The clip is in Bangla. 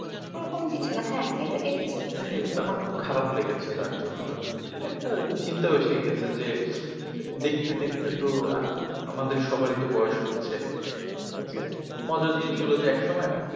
ওরকম কিছু না হ্যাঁ হ্যাঁ এটা এটা ঠিক তাই আমার খুব খারাপ লেগেছে। তার জন্য আর এটা একটা চিন্তা এসে গেছে যে দেখতে দেখতে তো আহ আমাদের সবারই তো বয়স হচ্ছে। ঠিক আছে মজার জিনিস হল যে একসময়,